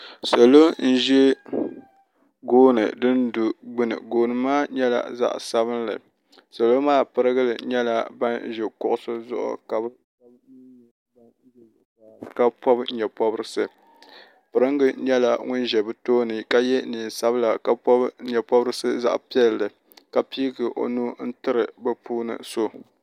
Salo n zi gooni dini du gbuni gooni maa nyɛla zaɣi sabinli salo maa pirigili nyɛla bani zi kuɣusi zuɣu ka bi shɛba mi nyɛ bani zɛ zuɣusaa ka pɔbi yee pɔbirisi pirigi nyɛla ŋuni zɛ bi tooni ka ye nɛɛn sabila ka pɔbi yee pɔbirisi ka piigi o nubila n tiri bi puuni so.